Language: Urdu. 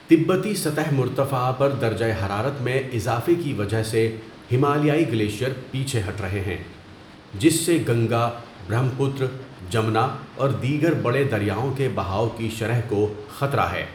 تبتی سطح مرتفع پر درجہ حرارت میں اضافے کی وجہ سے ہمالیائی گلیشیئر پیچھے ہٹ رہے ہیں، جس سے گنگا، برہم پتر، جمنا اور دیگر بڑے دریاؤں کے بہاؤ کی شرح کو خطرہ ہے۔